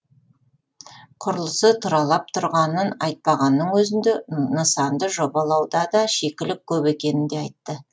құрылысы тұралап тұрғанын айтпағанның өзінде нысанды жобалауда да шикілік көп екенін де айтты